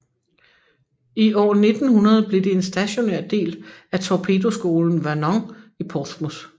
I år 1900 blev det en stationær del af torpedoskolen Vernon i Portsmouth